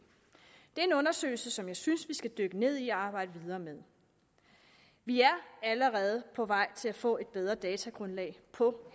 er en undersøgelse som jeg synes vi skal dykke ned i og arbejde videre med vi er allerede på vej til at få et bedre datagrundlag på